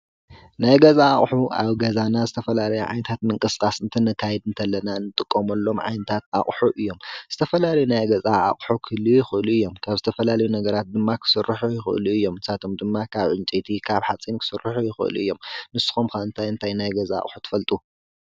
ናይ ገዛ ኣቁሑ ኣብ ገዛና ናይ ዝተፈላለዩ ምንቅስቃሳት እንትነከይድ ከለና እንጥቀመሎም ዓይነት ኣቁሑ እዮም። ዝተፈላለየ ዓይነታት ናይ ገዛ ኣቁሑ ክህሉው ይክእሉ እዮም። ካብ ዝተፈላለየ ነገራት ክስርሑ ይክእለ እዮም። ንሳቶም ድም ካብ ዕንጨይቲ ካብ ሓፂን ክስርሑ ይክእሉ እዮም። ንስኩም ከ እንታይ እንታይ ናይ ገዛ ኣቁሑ ትፈልጡ?